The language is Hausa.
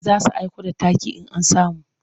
Za su aiko da takin in an samu.